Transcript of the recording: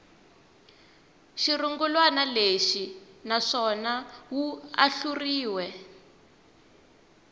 xirungulwana lexi naswona wu ahluriwe